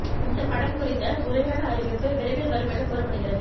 இந்த படம் குறித்த முறையான அறிவிப்பு விரைவில் வரும் என கூறப்படுகிறது